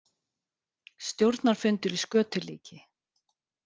Stjórnarfundur í skötulíki